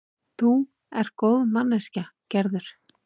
Þú ert góð manneskja, Gerður.